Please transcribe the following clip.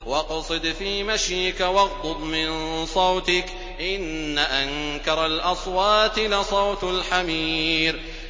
وَاقْصِدْ فِي مَشْيِكَ وَاغْضُضْ مِن صَوْتِكَ ۚ إِنَّ أَنكَرَ الْأَصْوَاتِ لَصَوْتُ الْحَمِيرِ